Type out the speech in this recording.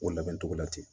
O labɛn cogo la ten